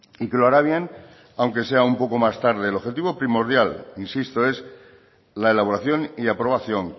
y que lo hará bien aunque sea un poco más tarde el objetivo primordial insisto es la elaboración y aprobación